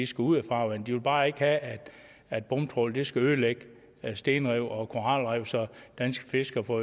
skal ud af farvandet de vil bare ikke have at bomtrawl skal ødelægge stenrev og koralrev så danske fiskere får